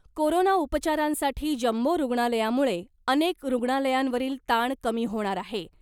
Corona उपचारांसाठी jumbo रुग्णालयामुळे अनेक रुग्णालयांवरील ताण कमी होणार आहे .